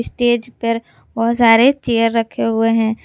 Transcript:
Stage पर बहोत सारे चेयर रखे हुए हैं।